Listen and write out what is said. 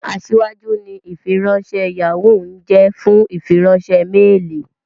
Aṣíwájú ni ìfiránṣẹ́ Yahoo ń jẹ́ fún ìfiránṣẹ́ méèlì